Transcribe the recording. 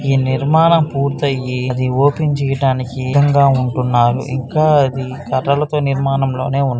ఈ నిర్మాణం పూర్తి అయ్యి అది ఓపెన్ చెయ్యడానికి సిద్ధంగా ఉంటున్నారు ఇంకా ఇది కర్రలతో నిర్మాణంలోనే ఉంది.